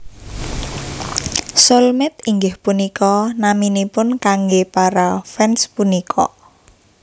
Soulmate inggih punika naminipun kanggé para fans punika